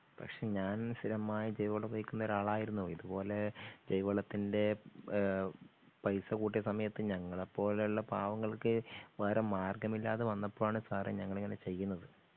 പക്ഷേ ഞാൻ സ്ഥിരമായി ജൈവവളം ഉപയോഗിക്കുന്ന ഒരാളായിരുന്നു ഇതുപോലെ ജൈവവളത്തിൻ്റെ ഏഹ് പൈസ കൂട്ടിയ സമയത്ത് ഞങ്ങളെപ്പോലുള്ള പാവങ്ങൾക്ക് വേറെ മാർഗ്ഗമില്ലാതെ വന്നപ്പോഴാണ് സാറേ ഞങ്ങളങ്ങനെ ചെയ്യുന്നത്